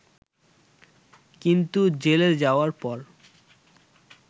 কিন্তু জেলে যাওয়ার পর